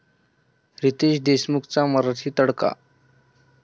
रितेश देशमुखचा मराठी तडका